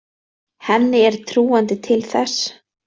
Henni er trúandi til þess.